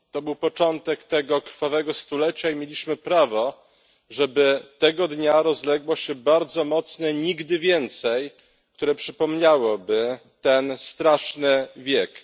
To był początek tego krwawego stulecia i mieliśmy prawo, żeby tego dnia rozległo się bardzo mocne nigdy więcejˮ, które przypomniałoby ten straszny wiek.